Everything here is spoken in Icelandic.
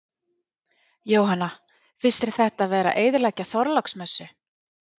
Jóhanna: Finnst þér þetta vera að eyðileggja Þorláksmessu?